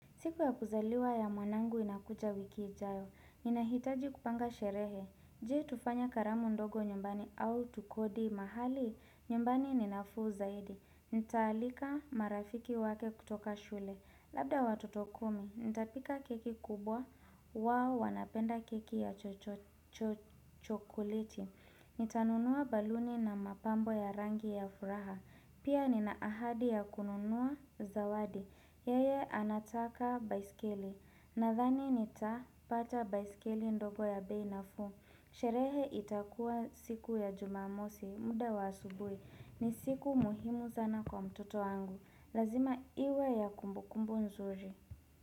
Siku ya kuzaliwa ya mwanangu inakuja wiki ijayo. Ninahitaji kupanga sherehe. Jee tufanye karamu ndogo nyumbani au tukodi mahali. Nyumbani ni nafuu zaidi. Nitaalika marafiki wake kutoka shule. Labda watoto kumi, nitapika keki kubwa. Wao wanapenda keki ya chochokeleti. Nitanunua baluni na mapambo ya rangi ya furaha. Pia nina ahadi ya kununua zawadi. Yeye anataka baiskeli nadhani nitapata baiskeli ndogo ya bei nafuu. Sherehe itakuwa siku ya jumamosi muda wa asubui ni siku muhimu sana kwa mtoto wangu. Lazima iwe ya kumbu kumbu nzuri.